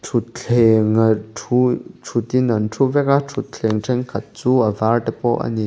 thuthleng a thu thut in an thu vek a thuthleng thenkhat chu a var te pawh ani.